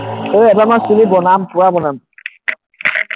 ঐ এইবাৰ মই চুলি বনাম পুৰা বনাম,